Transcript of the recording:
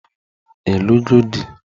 Ị lụgo di?